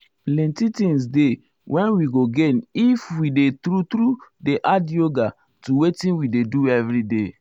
plenty things dey wen we go gain if we dey true true dey add yoga to wetin we dey do everyday.